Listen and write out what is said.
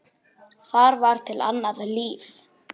Það var til annað líf.